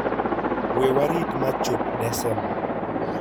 We warit ma chop Desemba!